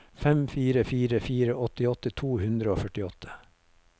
fem fire fire fire åttiåtte to hundre og førtiåtte